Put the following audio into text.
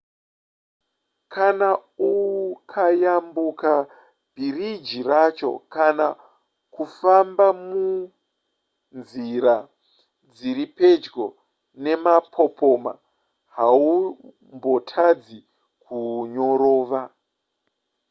kana ukayambuka bhiriji racho kana kufamba nemunzira dziri pedyo nemapopoma haumbotadzi kunyorova